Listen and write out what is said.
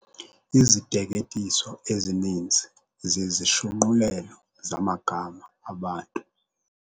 Iziteketiso ezininzi zizishunqulelo zamagama abantu.